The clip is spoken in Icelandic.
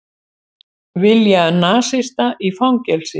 Vilja nasista í fangelsi